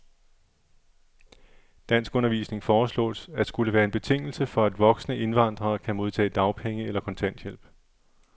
Danskundervisning foreslås at skulle være en betingelse for, at voksne indvandrere kan modtage dagpenge eller kontanthjælp.